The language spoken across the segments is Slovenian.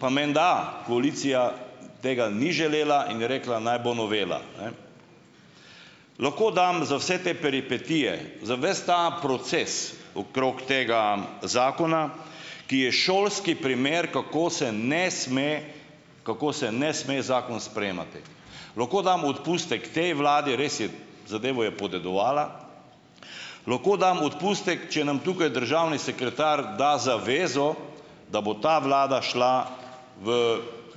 pa menda koalicija tega ni želela in je rekla, naj bo novela, ne. Lahko dam za vse te peripetije, za ves ta proces okrog tega zakona, ki je šolski primer, kako se ne sme, kako se ne sme zakona sprejemati. Lahko damo odpustek tej vladi, res je, zadevo je podedovala, lahko damo odpustek, če nam tukaj državni sekretar da zavezo, da bo ta vlada šla v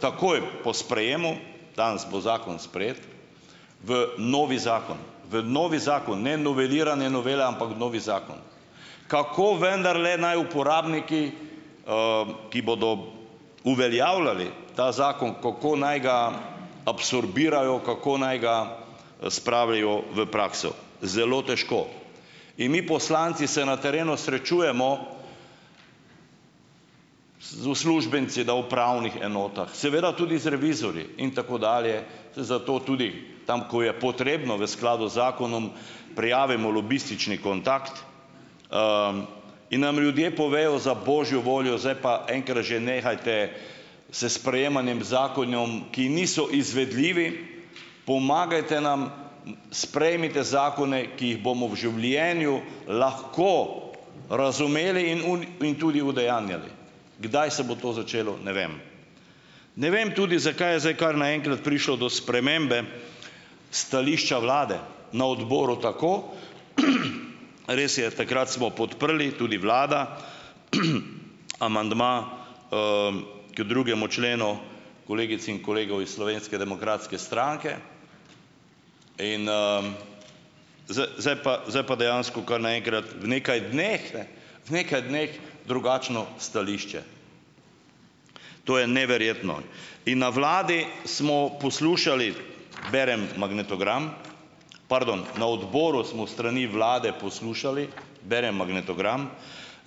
takoj po sprejemu, danes bo zakon sprejet, v novi zakon, v novi zakon, ne noveliranje novele, ampak v novi zakon. Kako vendarle naj uporabniki, ki bodo uveljavljali ta zakon, kako naj ga absorbirajo, kako naj ga, spravijo v prakso? Zelo težko. In mi poslanci se na terenu srečujemo z uslužbenci na upravnih enotah, seveda tudi z revizorji in tako dalje. Zato tudi tam, ko je potrebno v skladu z zakonom, prijavimo lobistični kontakt in nam ljudje povejo: "Za božjo voljo, zdaj pa enkrat že nehajte s sprejemanjem zakonov, ki niso izvedljivi. Pomagajte nam, sprejmite zakone, ki jih bomo v življenju lahko razumeli in tudi udejanjali." Kdaj se bo to začelo, ne vem. Ne vem tudi, zakaj je zdaj kar naenkrat prišlo do spremembe stališča vlade na odboru, tako, res je, takrat smo podprli, tudi vlada, amandma, k drugemu členu kolegic in kolegov iz Slovenske demokratske stranke in, zdaj pa zdaj pa dejansko kar naenkrat v nekaj dneh, ne, v nekaj dneh drugačno stališče. To je neverjetno in na vladi smo poslušali, berem magnetogram, pardon, na odboru smo s strani vlade poslušali berem magnetogram: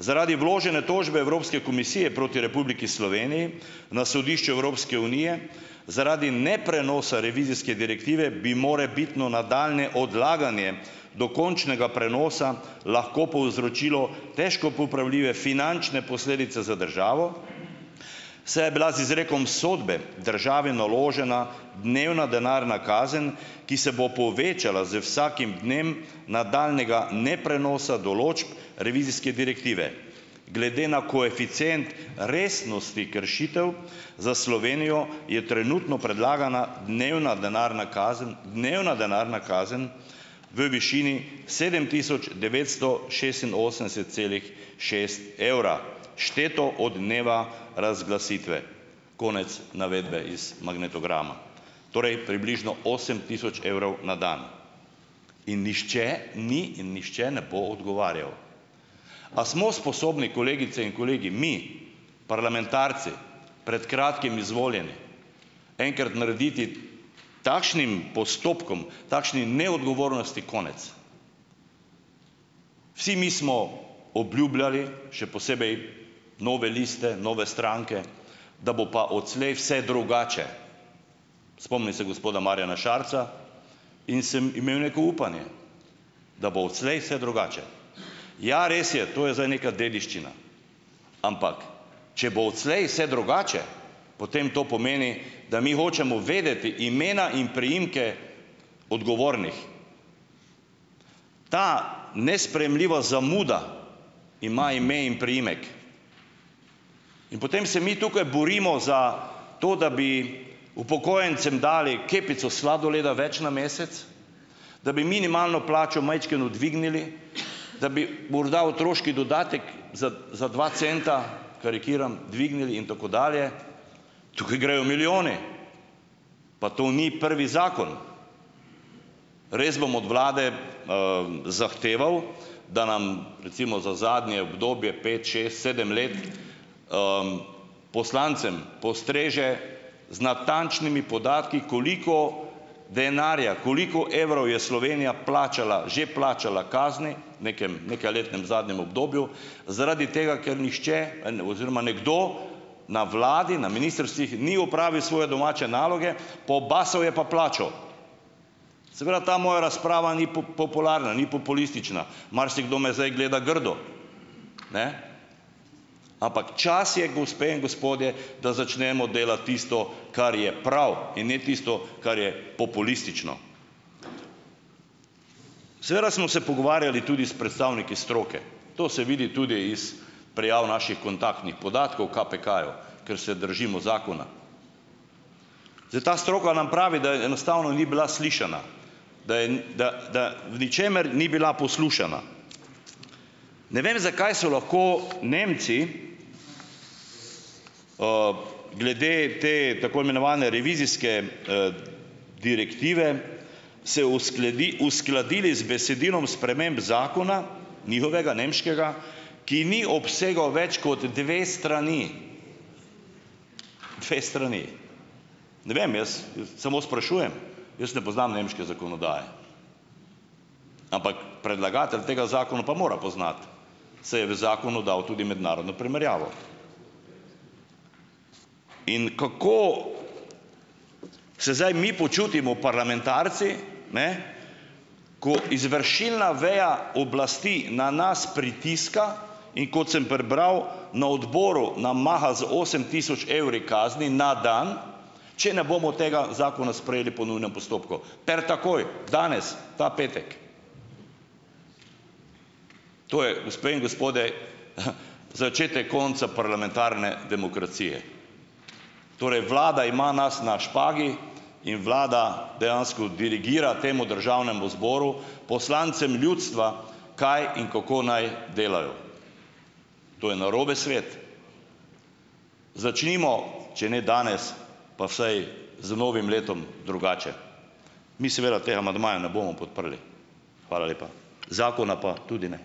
"Zaradi vložene tožbe Evropske komisije proti Republiki Sloveniji, na sodišče Evropske unije zaradi neprenosa revizijske direktive bi morebitno nadaljnje odlaganje dokončnega prenosa lahko povzročilo težko popravljive finančne posledice za državo, saj je bila z izrekom sodbe državi naložena dnevna denarna kazen, ki se bo povečala z vsakim dnem nadaljnjega neprenosa določb revizijske direktive. Glede na koeficient resnosti kršitev za Slovenijo je trenutno predlagana dnevna denarna kazen, dnevna denarna kazen, v višini sedem tisoč devetsto šestinosemdeset celih šest evra, šteto od dneva razglasitve." Konec navedbe, iz magnetograma. Torej približno osem tisoč evrov na dan in nihče ni in nihče ne bo odgovarjal. A smo sposobni, kolegice in kolegi, mi, parlamentarci, pred kratkim izvoljeni, enkrat narediti takšnim postopkom, takšni neodgovornosti konec? Vsi mi smo obljubljali, še posebej nove liste, nove stranke, da bo pa odslej vse drugače. Spomnim se gospoda Marjana Šarca in sem imel neko upanje, da bo odslej vse drugače. Ja, res je, to je zdaj neka dediščina, ampak če bo odslej vse drugače, potem to pomeni, da mi hočemo vedeti imena in priimke odgovornih. Ta nesprejemljiva zamuda ima ime in priimek. In potem se mi tukaj borimo za to, da bi upokojencem dali kepico sladoleda več na mesec, da bi minimalno plačo majčkeno dvignili, da bi morda otroški dodatek za za dva centa, karikiram, dvignili in tako dalje. Tukaj grejo milijoni, pa to ni prvi zakon. Res bom od vlade, zahteval, da nam, recimo za zadnje obdobje pet, šest, sedem let, poslancem postreže z natančnimi podatki, koliko denarja, koliko evrov je Slovenija plačala, že plačala kazni, v nekem nekajletnem, zadnjem obdobju, zaradi tega, ker nihče oziroma nekdo na vladi, na ministrstvih ni opravil svoje domače naloge, pobasal je pa plačo. Seveda ta moja razprava ni popularna, ni populistična. Marsikdo me zdaj gleda grdo, ampak čas je, gospe in gospodje, da začnemo delati tisto, kar je prav, in ne tisto, kar je populistično. Seveda smo se pogovarjali tudi s predstavniki stroke. To se vidi tudi iz prijav naših kontaktnih podatkov, KPK-ju, ker se držimo zakona. Zdaj, ta stroka nam pravi, da enostavno ni bila slišana, da je, da, da o ničemer ni bila poslušana. Ne vem, zakaj so lahko Nemci, glede te tako imenovane revizijske, direktive, se uskladili z besedilom sprememb zakona, njihovega, nemškega, ki ni obsegal več kot dve strani. Dve strani. Ne vem, jaz, samo sprašujem. Jaz ne poznam nemške zakonodaje, ampak predlagatelj tega zakona pa mora poznati, saj je v zakonu dal tudi mednarodno primerjavo. In kako se zdaj mi počutimo, parlamentarci, ne, ko izvršilna veja oblasti na nas pritiska, in kot sem prebral, na odboru nam maha z osem tisoč evri kazni na dan, če ne bomo tega zakona sprejeli po nujnem postopku. Per takoj, danes, ta petek. To je, gospe in gospodje, začetek konca parlamentarne demokracije. Torej, vlada ima nas na špagi in vlada dejansko dirigira temu državnemu zboru, poslancem ljudstva, kaj in kako naj delajo. To je narobe svet. Začnimo, če ne danes, pa vsaj z novim letom drugače. Mi seveda tega amandmaja ne bomo podprli, hvala lepa, zakona pa tudi ne.